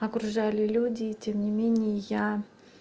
окружали люди и тем не менее я